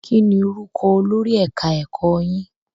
Kí ni orúkọ olórí ẹ̀ka ẹ̀kọ́ yín?